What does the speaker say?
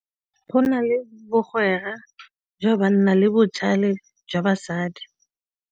Go na le bkgwera jwa banna le botlhale jwa basadi.